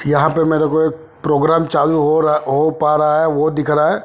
यहा पे मेरे को एक प्रोग्राम चालू हो पारा होरा वो दिख रहा है।